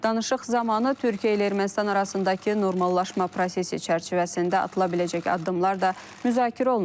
Danışıq zamanı Türkiyə ilə Ermənistan arasındakı normallaşma prosesi çərçivəsində atıla biləcək addımlar da müzakirə olunub.